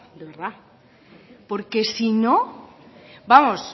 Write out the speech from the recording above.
de verdad porque si no vamos